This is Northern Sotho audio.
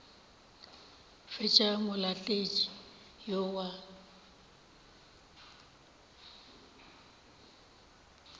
ke tša molaletši yo wa